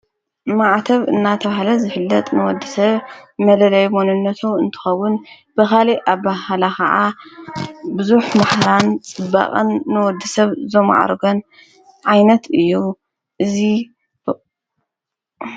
ማዓተብ እናተበሃለ ዘፍለጥ ንወዲ ሰብ መለለይ መንነቱ እንትኸዉን ብኻልኢ አበሃህላ ኸዓ ብዙኅ ማህራን ጽበቐን ንወዲ ሰብ ዘምዓሩጎን ዓይነት እዩ ። እዝይ